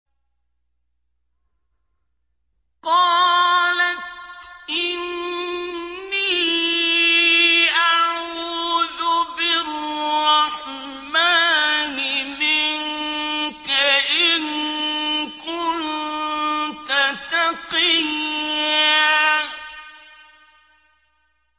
قَالَتْ إِنِّي أَعُوذُ بِالرَّحْمَٰنِ مِنكَ إِن كُنتَ تَقِيًّا